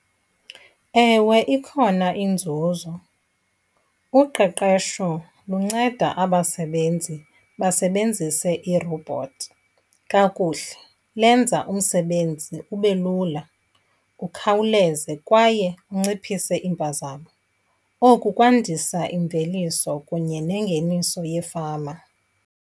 Ewe, ikhona inzuzo. Uqeqesho lunceda abasebenzi basebenzise iirobhothi kakuhle, lenza umsebenzi ube lula, ukhawuleze kwaye unciphise iimpazamo. Oku kwandisa imveliso kunye nengeniso yefama.